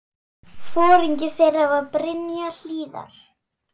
Foringi þeirra var Brynja Hlíðar.